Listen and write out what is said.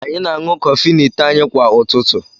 Anyị na-aṅụ kọfị n'ite anyị kwa ụtụtụ.